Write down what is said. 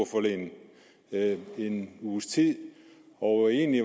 i en uges tid og egentlig